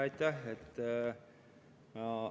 Aitäh!